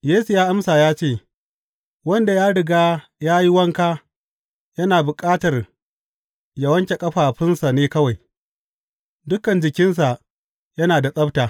Yesu ya amsa ya ce, Wanda ya riga ya yi wanka yana bukata yă wanke ƙafafunsa ne kawai; dukan jikinsa yana da tsabta.